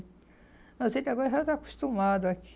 Mas ele agora já está acostumado aqui.